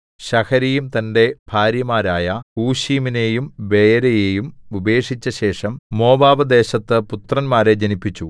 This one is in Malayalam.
ശഹരയീം തന്റെ ഭാര്യമാരായ ഹൂശീമിനെയും ബയരയെയും ഉപേക്ഷിച്ചശേഷം മോവാബ്‌ദേശത്ത് പുത്രന്മാരെ ജനിപ്പിച്ചു